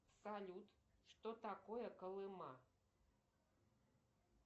салют что такое колыма